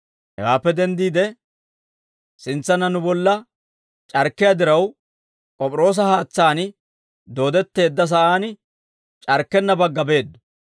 Hewaappe denddiide, sintsanna nu bolla c'arkkiyaa diraw, K'op'iroosa haatsaan dooddetteedda sa'aan c'arkkenna bagga beeddo.